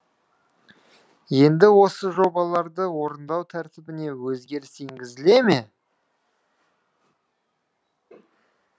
енді осы жобаларды орындау тәртібіне өзгеріс енгізіле ме